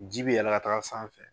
Ji bi yɛlɛ ka taga sanfɛ.